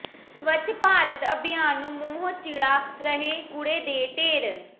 ਸਵੱਛ ਭਾਰਤ ਅਭਿਆਨ ਨੂੰ ਮੂੰਹ ਚਿੜ੍ਹਾ ਰਹੇ ਕੂੜੇ ਦੇ ਢੇਰ